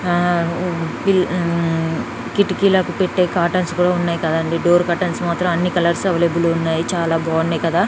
కిటికీలకు పెట్టే కాటన్స్ కూడా ఉన్నాయి కదండీ డోర్ కటన్స్ మాత్రం అన్ని కలర్స్ అవైలబుల్ ఉన్నాయి చాలా బాగున్నాయి కదా